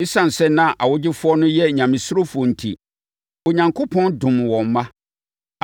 Esiane sɛ na awogyefoɔ no yɛ nyamesurofoɔ enti, Onyankopɔn domm wɔn mma.